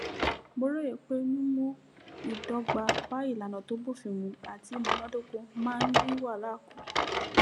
mo róye pé mímú ìdọgba bá ìlànà tó bófin mu àti ìmúnádóko máa ń dín wàhálà kù